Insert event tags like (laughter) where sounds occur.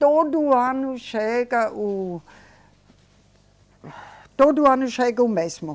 Todo ano chega o (sighs) todo ano chega o mesmo.